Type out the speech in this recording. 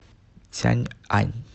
цяньань